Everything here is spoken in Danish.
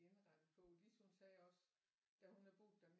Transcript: Er indrettet på Lis hun sagde også da hun havde boet den